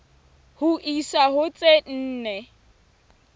ho isa ho tse nne